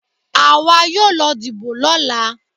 Àwa yóò lọ dìbò lọ́la.